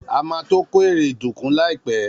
A ma tó kó ère dùnkún líàpẹ́.